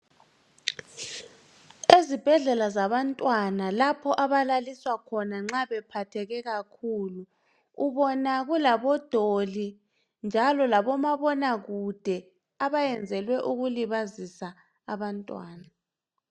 Ezibhedlela zabantwana lapho abalaliswa khona nxa bephatheke kakhulu. Ubona kulabodoli, njalo labomabonakude. Abayenzelwe ukulibazisa abantwana.